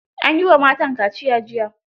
An yi wa matan kaciya jiya.